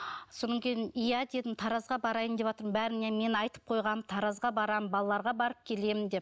сонан кейін иә дедім таразға барайын деватырмын бәріне мен айтып қойғам таразға барам балаларға барып келемін деп